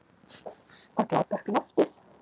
Að glápa upp í loftið.